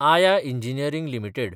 आया engineering limited